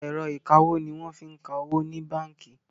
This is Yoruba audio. Ẹ̀rọ ìkawó ní wọ́n fí ń ka owó ní bánkì.